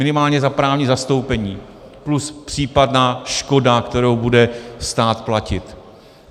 Minimálně za právní zastoupení plus případná škoda, kterou bude stát platit.